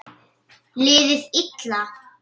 Liðið illa?